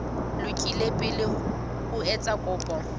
lokile pele o etsa kopo